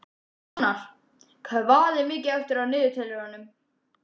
Fannar, hvað er mikið eftir af niðurteljaranum?